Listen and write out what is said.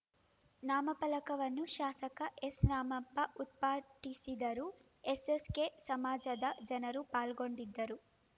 ನಾಮಫಲಕವನ್ನು ಶಾಸಕ ಎಸ್‌ರಾಮಪ್ಪ ಉದ್ಘಾಟಿಸಿದರು ಎಸ್‌ಎಸ್‌ಕೆಸಮಾಜದ ಜನರು ಪಾಲ್ಗೊಂಡಿದ್ದರು